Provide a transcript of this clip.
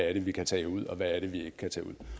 er vi kan tage ud og hvad det er vi ikke kan tage ud